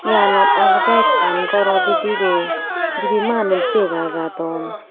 Eyanot olode ekkan goro bidirey dibey manuj dega jadon.